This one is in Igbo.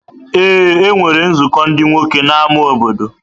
Ee, e nwere nzukọ ndị nwoke n’ámá obodo.